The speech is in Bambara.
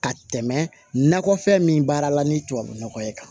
Ka tɛmɛ nakɔfɛn min baara la ni tubabu nɔgɔ ye kan